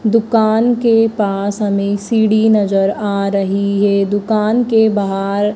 दुकान के पास हमें सीडी नजर आ रही है। दुकान के बाहर--